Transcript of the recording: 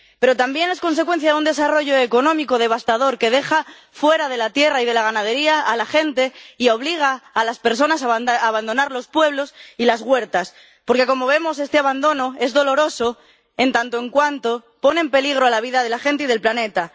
Pero también es consecuencia de un desarrollo económico devastador que deja fuera de la tierra y de la ganadería a la gente y obliga a las personas a abandonar los pueblos y las huertas, porque, como vemos, este abandono es doloroso en tanto en cuanto pone en peligro la vida de la gente y del planeta.